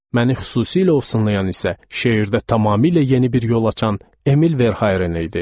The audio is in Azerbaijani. Məni xüsusilə ovsunlayan isə şeirdə tamamilə yeni bir yol açan Emil Verharin idi.